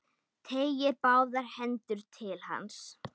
Teygir báðar hendur til hans.